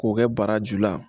K'o kɛ barajuru la